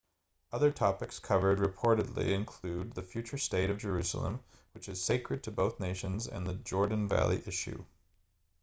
other topics covered reportedly include the future state of jerusalem which is sacred to both nations and the jordan valley issue